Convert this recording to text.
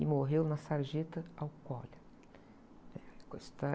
E morreu na sarjeta alcoólatra.